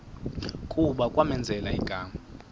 kuba kwamenzela igama